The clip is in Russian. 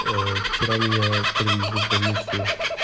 аа вчера меня привезли в больницу